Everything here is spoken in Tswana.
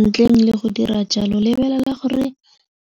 Ntleng le go dira jalo lebelela gore